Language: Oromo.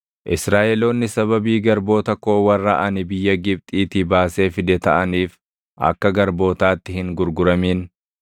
Israaʼeloonni sababii garboota koo warra ani biyya Gibxiitii baasee fide taʼaniif akka garbootaatti hin gurguramin.